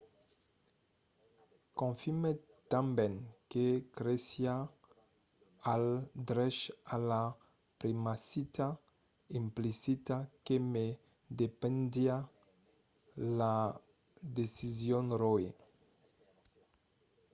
confirmèt tanben que cresiá al drech a la privacitat implicita que ne dependiá la decision roe